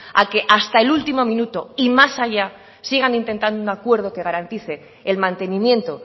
a que hasta el último minuto y más allá sigan intentando acuerdo que garantice el mantenimiento